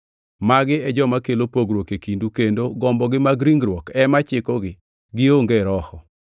Magi e joma kelo pogruok e kindu, kendo gombogi mag ringruok ema chikogi, gionge Roho.